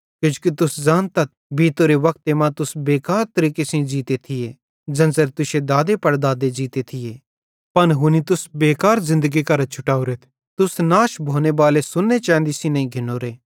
किजोकि तुस ज़ानतथ बीतोरे वक्ते मां तुस बेकार तरीके सेइं ज़ीते थिये ज़ेन्च़रे तुश्शे दादेपड़दादे ज़ीते थिये पन हुनी तुस बेकार ज़िन्दगी करां छुटावरेथ तुस नाश भोनेबाले सोन्ने चैंदी सेइं नईं घिन्नोरे